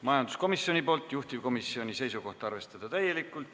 Majanduskomisjon, juhtivkomisjoni seisukoht: arvestada täielikult.